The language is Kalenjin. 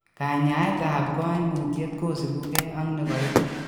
Kanyaeet ab koimutiet kosibukee ak nekaibu